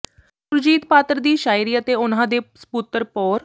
ਸੁਰਜੀਤ ਪਾਤਰ ਦੀ ਸ਼ਾਇਰੀ ਅਤੇ ਉਹਨਾਂ ਦੇ ਸਪੁੱਤਰ ਪੋ੍ਰ